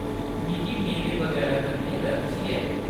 मिगी मेवें बगैरा कन्नै एलर्जी ऐ .